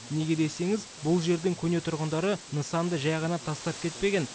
неге десеңіз бұл жердің көне тұрғындары нысанды жай ғана тастап кетпеген